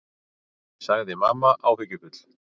sagði mamma áhyggjufull.